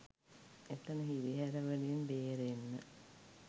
එතන හිරිහැර වලින් බේරෙන්න